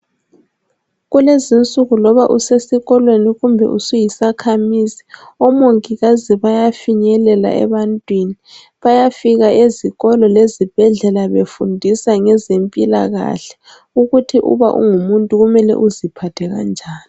Kulezinsuku loba usesikolweni kumbe usuyisakhamizi Omongikazi bayafinyelela ebantwini .Bayafika ezikolo lezibhedlela befundisa ngezempilakahle ukuthi uba ungumuntu kumele uziphathe kanjani.